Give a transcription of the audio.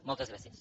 moltes gràcies